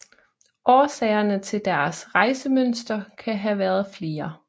Årsagerne til deres rejsemønster kan have været flere